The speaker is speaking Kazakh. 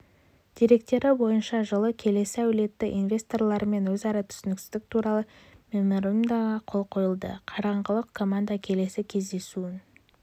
деректері бойынша жылы келесі әлеуетті инвесторлармен өзара түсіністік туралы меморандумға қол қойылды қарағандылық команда келесі кездесуін